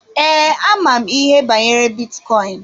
Ee, ama m ihe banyere bitcoin.